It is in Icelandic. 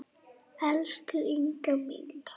Elsku Inga mín.